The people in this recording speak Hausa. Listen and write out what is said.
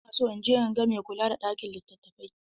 Ina so in je in ga mai kula da ɗakin litattafai.